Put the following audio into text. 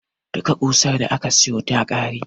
Duka ƙusar da aka siyo ta ƙare.